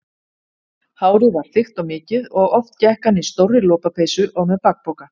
Hárið var þykkt og mikið og oft gekk hann í stórri lopapeysu og með bakpoka.